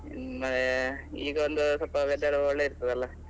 ಹ್ಮ್ ಈಗ ಒಂದು ಸ್ವಲ್ಪ weather ಒಳ್ಳೆ ಇರ್ತದಲ್ಲ.